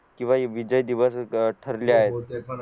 किंवा विजय दिवस ठरले आहे